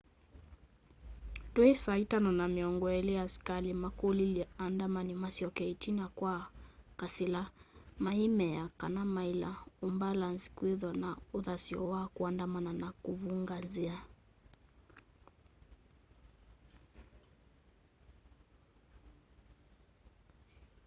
twi 11:20 asikali makulilye aandamani masyoke itina kwa kasila meimea kana maila umbalanzi kwithwa na uthasyo wa kuandamana na kuvunga nzia